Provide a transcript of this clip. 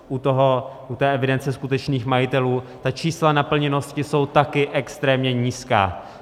U té evidence skutečných majitelů ta čísla naplněnosti jsou taky extrémně nízká.